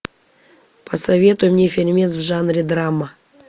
посоветуй мне фильмец в жанре драма